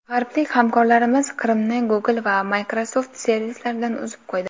G‘arblik hamkorlarimiz Qrimni Google va Microsoft servislaridan uzib qo‘ydi.